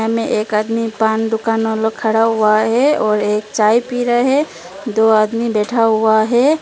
एक आदमी पान दुकान वाला खड़ा हुआ है और एक चाय पी रहे हैं दो आदमी बैठा हुआ है।